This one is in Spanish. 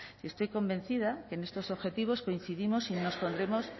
estoy convencida que en estos objetivos coincidimos